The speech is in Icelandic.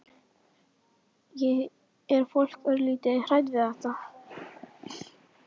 Er fólk örlítið hrætt við þetta?